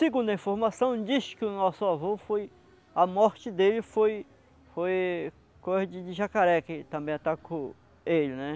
Segundo a informação, diz que o nosso avô foi... A morte dele foi foi coisa de de jacaré que também atacou ele, né?